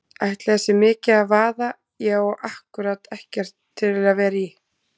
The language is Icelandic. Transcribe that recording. Ætli það sé mikið að vaða, ég á ákkúrat ekkert til að vera í.